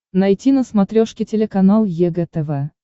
найти на смотрешке телеканал егэ тв